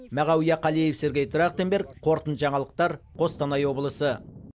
мағауия қалиев сергей трахтенберг қорытынды жаңалықтар қостанай облысы